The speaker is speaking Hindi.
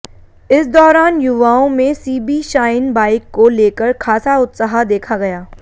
इस दौरान युवाओं में सीबी शाइन बाइक को लेकर खासा उत्साह देखा गया